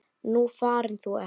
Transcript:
Nú farin þú ert.